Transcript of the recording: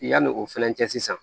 Yanni o fɛnɛ cɛ sisan